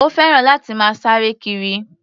Ó fẹ́ràn láti máa sáre kiri.